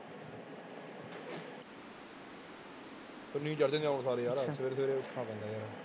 ਚੜ੍ਹਦੇ ਨੇ ਆਹੋ ਸਾਰੇ ਯਾਰ ਸਵੇਰੇ ਸਵੇਰੇ ਉੱਠਣਾ ਪੈਂਦਾ ਯਾਰ।